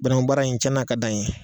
Banankun baara in cɛnna a ka d'a n ye.